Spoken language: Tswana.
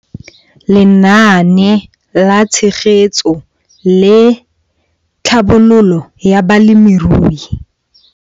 Lenaane la Tshegetso le Tlhabololo ya Balemirui.